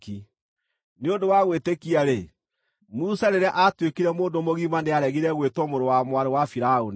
Nĩ ũndũ wa gwĩtĩkia-rĩ, Musa rĩrĩa aatuĩkire mũndũ mũgima nĩaregire gwĩtwo mũrũ wa mwarĩ wa Firaũni.